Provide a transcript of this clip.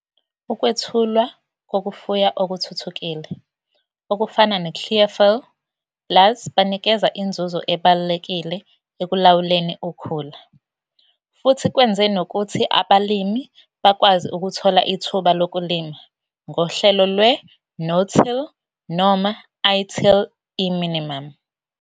Ukwethulwa kokufuya okuthuthukile okufana ne-Clearfiel Plus banikeza inzuzo ebalulekile ekulawuleni ukhula futhi kwenze nokuthi abalimi bakwazi ukuthola ithuba lokulima ngohlelo lwe-no-till noma i-till farming e-minimum.